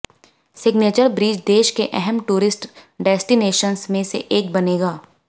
signature bridge देश के अहम टूरिस्ट डेस्टिनेशन्स में से एक बनेगा